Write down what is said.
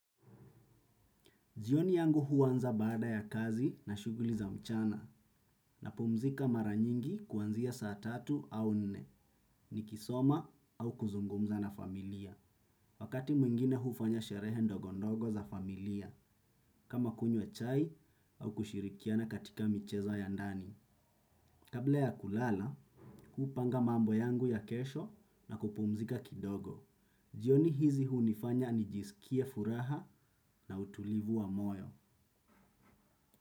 Jioni yangu huanza baada ya kazi na shughuli za mchana napumzika mara nyingi kuanzia saa tatu au nne, nikisoma au kuzungumza na familia. Wakati mwingine hufanya sherehe ndogo ndogo za familia, kama kunywa chai au kushirikiana katika michezo ya ndani. Kabla ya kulala, hupanga mambo yangu ya kesho na kupumzika kidogo. Jioni hizi hunifanya nijiskie furaha na utulivu wa moyo.